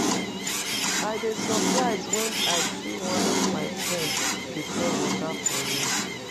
I dey surprised when I see one of my friend dey sell water for road